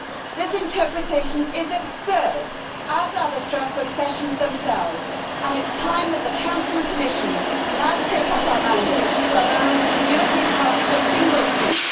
This interpretation is absurd, as are the Strasbourg sessions themselves, and it is time that the Council and Commission now take up our mandate to allow the European Parliament a single seat.